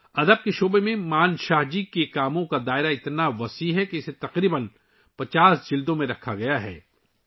ادب کے میدان میں منشا جی کی تصانیف کا دائرہ اس قدر وسیع ہے کہ اسے تقریباً 50 جلدوں میں محفوظ کیا گیا ہے